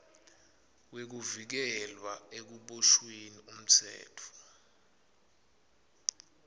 wekuvikelwa ekuboshweni umtsetfo